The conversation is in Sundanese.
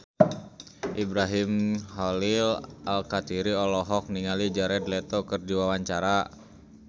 Ibrahim Khalil Alkatiri olohok ningali Jared Leto keur diwawancara